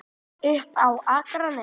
Upp á Akranes.